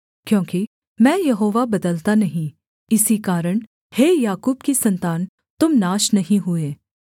क्योंकि मैं यहोवा बदलता नहीं इसी कारण हे याकूब की सन्तान तुम नाश नहीं हुए